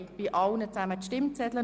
Hans-Rudolf Saxer mit 114 Stimmen